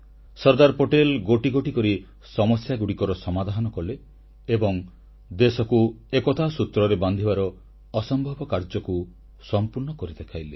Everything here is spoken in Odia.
ସର୍ଦ୍ଦାର ପଟେଲ ଗୋଟି ଗୋଟି କରି ସମସ୍ୟାଗୁଡ଼ିକର ସମାଧାନ କଲେ ଏବଂ ଦେଶକୁ ଏକତା ସୂତ୍ରରେ ବାନ୍ଧିବାର ଅସମ୍ଭବ କାର୍ଯ୍ୟକୁ ସମ୍ପୂର୍ଣ୍ଣ କରି ଦେଖାଇଲେ